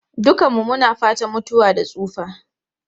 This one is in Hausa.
Dukanmu muna fatan mutuwa da tsufa.